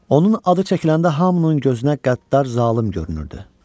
Onun adı çəkiləndə hamının gözünə qəddar zalım görünürdü.